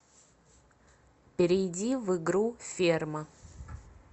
перейди в игру ферма